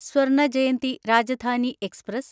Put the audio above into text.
സ്വർണ ജയന്തി രാജധാനി എക്സ്പ്രസ്